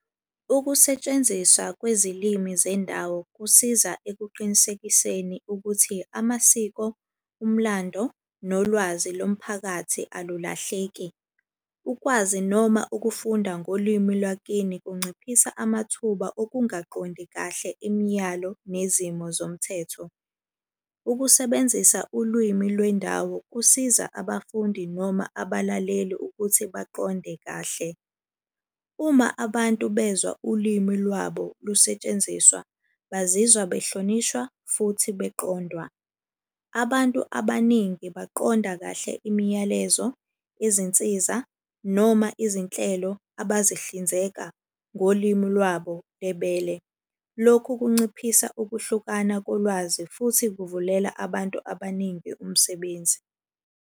Ukusetshenziswa kwezilimi zendawo kusiza ekuqinisekiseni ukuthi amasiko, umlando, nolwazi lomphakathi alulahleki. Ukwazi noma ukufunda ngolwimi lwakini kunciphisa amathuba okungaqondi kahle imiyalo nezimo zomthetho. Ukusebenzisa ulwimi lwendawo kusiza abafundi noma abalaleli ukuthi baqonde kahle. Uma abantu bezwa ulimi lwabo lusetshenziswa, bazizwa behlonishwa futhi beqondwa. Abantu abaningi baqonda kahle imiyalezo, izinsiza, noma izinhlelo abazihlinzeka ngolimi lwabo lebele. Lokhu kunciphisa ukuhlukana kolwazi futhi kuvulela abantu abaningi umsebenzi.